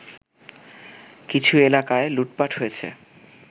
কিছু এলাকায় লুটপাট হয়েছে